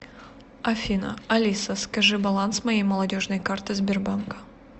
афина алиса скажи баланс моей молодежной карты сбербанка